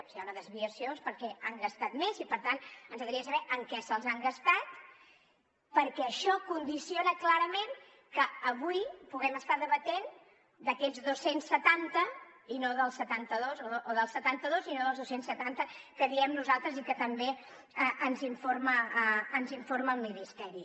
si hi ha una desviació és perquè han gastat més i per tant ens agradaria saber en què se’ls han gastat perquè això condiciona clarament que avui puguem estar debatent d’aquests dos cents i setanta i no dels setanta dos o dels setanta dos i no dels dos cents i setanta que diem nosaltres i de què també ens informa el ministeri